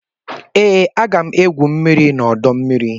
Ee, aga m égwu mmiri n'ọdọmmiri